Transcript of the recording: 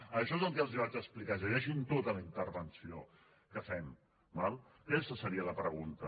això és el que els vaig explicar llegeixin tota la intervenció que fem d’acord aquesta seria la pregunta